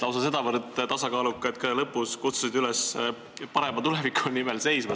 Lausa sedavõrd tasakaaluka, et lõpus sa kutsusid üles parema tuleviku eest seisma.